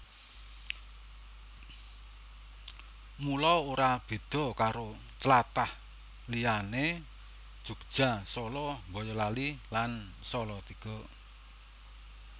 Mulo ora béda karo tlatah liyané Jogya Solo Boyolali lan Salatiga